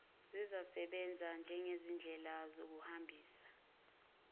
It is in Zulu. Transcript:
zizawusebenza njengezindlela zokuhambisa